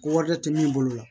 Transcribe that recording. Warijɛ tɛ min bolo la